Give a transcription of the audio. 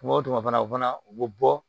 Kuma o kuma fana o fana u bɛ bɔ